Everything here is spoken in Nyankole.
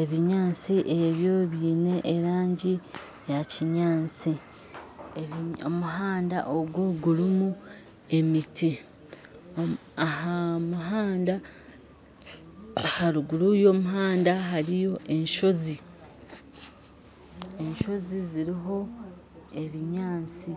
ebinyatsi ebyo byine erangi ya'kinyantsi , omuhanda ogu gurumu emiti. Aharuguru yo'muhanda hariyo enshozi , enshozi ziriho ebinyantsi